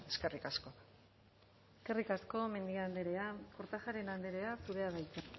eskerrik asko eskerrik asko mendia andrea kortajarena andrea zurea da hitza